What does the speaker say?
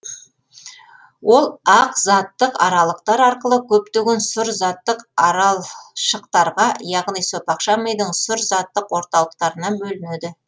ол ақ заттық аралықтар арқылы көптеген сұр заттық аралшықтарға яғни сопақша мидың сұр заттық орталықтарына бөлінеді